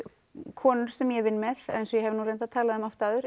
konur sem ég vinn með eins og ég hef oft talað um